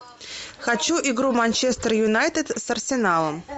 хочу игру манчестер юнайтед с арсеналом